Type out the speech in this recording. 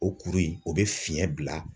O kuru in , o bɛ fiɲɛ bila